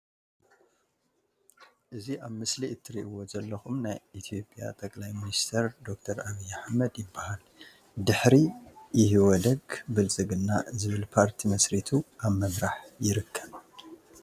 እዚ ኣብ ምስሊ ትርኢዎ ዘለኩም ናይ ኢትዮጵያ ጠ/ሚንስተር ዶክተር ኣብይ ኣሕመድ ይባሃል። ድሕሪ ይህወደግ ብልፅግና ዝብል ፓርቲ መስሪቱ ኣብ ምምራሕ ይርከብ።